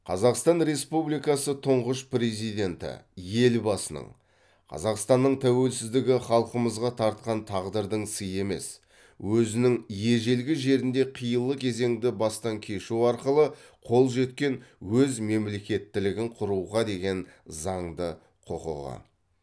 қазақстан республикасы тұңғыш президенті елбасының қазақстанның тәуелсіздігі халқымызға тартқан тағдырдың сыйы емес өзінің ежелгі жерінде қилы кезеңді бастан кешу арқылы қол жеткен өз мемлекеттілігін құруға деген заңды құқығы